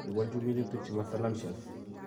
iwaljin minutik che ma salanceauos